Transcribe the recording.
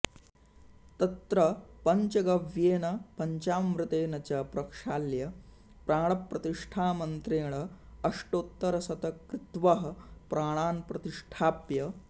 तत्र पञ्चगव्येन पञ्चामृतेन च प्रक्षाल्य प्राणप्रतिष्ठामन्त्रेण अष्टोत्तरशतकृत्वः प्राणान् प्रतिष्ठाप्य